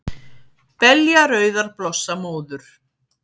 Belja rauðar blossa móður,